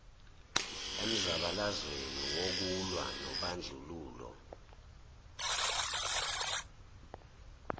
emzabalazweni wokulwa nobandlululo